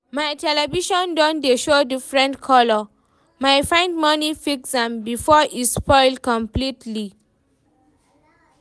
my television don dey show different color, my find money fix am before e spoil completely